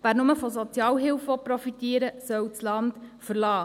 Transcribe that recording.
Wer nur von Sozialhilfe profitieren will, soll das Land verlassen.